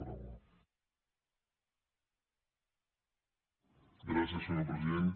gràcies senyor president